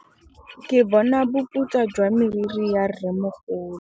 Ke bone boputswa jwa meriri ya rrêmogolo.